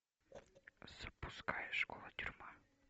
запускай школа тюрьма